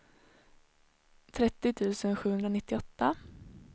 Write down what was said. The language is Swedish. trettio tusen sjuhundranittioåtta